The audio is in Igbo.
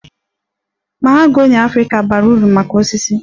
Mahogany Africa bara uru maka osisi